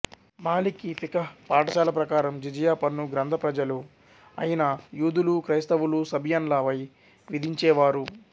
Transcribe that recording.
మాలికి ఫిఖహ్ పాఠశాల ప్రకారం జిజియా పన్ను గ్రంథ పజలు అయిన యూదులు క్రైస్తవులు సబియన్ల పై విధించేవారు